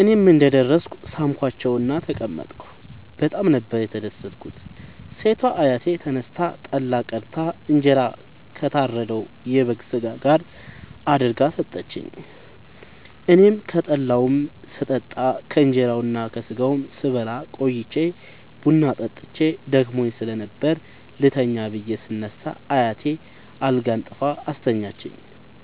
እኔም እንደ ደረስኩ ሣምኳቸዉእና ተቀመጥኩ በጣም ነበር የተደትኩት ሴቷ አያቴ ተነስታ ጠላ ቀድታ እንጀራ ከታረደዉ የበግ ስጋ ጋር አድርጋ ሠጠችኝ። አኔም ከጠላዉም ስጠጣ ከእንራዉና ከስጋዉም ስበላ ቆይቼ ቡና ጠጥቼ ደክሞኝ ስለነበር ልተኛ ብየ ስነሳ አያቴ አልጋ አንጥፋ አስተኛችኝ።